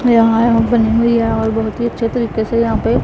यहां यह बनी हुई है और बहुत ही अच्छे तरीके से यहां पे--